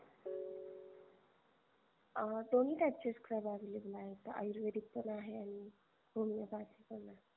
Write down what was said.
अ दोणी type चे scrub available आहेत. आयुर्वेदिक पण आहे आणि homeopathic पणआहे